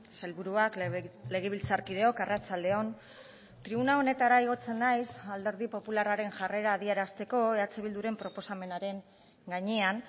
sailburuak legebiltzarkideok arratsalde on tribuna honetara igotzen naiz alderdi popularraren jarrera adierazteko eh bilduren proposamenaren gainean